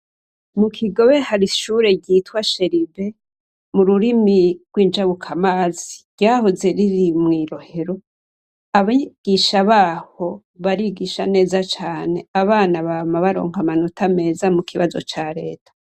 Mu Kigobe hari ishure ryitwa cherubins mururimi rwinjabukamazi ryahoze riri mwi Rohero abigisha baho barigisha neza cane abana bama baronka amanota meza cane mubibazo ca reta.